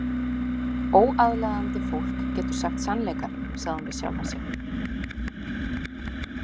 Óaðlaðandi fólk getur sagt sannleikann, sagði hún við sjálfa sig.